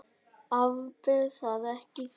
Afber það ekki, þú ferð.